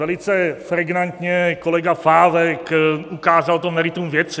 Velice pregnantně kolega Pávek ukázal to meritum věci.